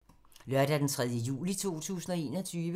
Lørdag d. 3. juli 2021